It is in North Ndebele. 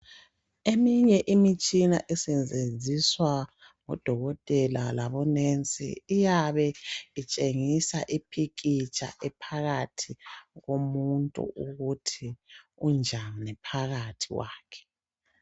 Eminye Imitshina esetshenziswa ngodokotela labo nurse iyabe itshengisa iphikitsha ephakathi komuntu ukuthi kunjani phakathi kwakhe.